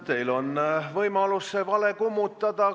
Teil on võimalus see vale kummutada.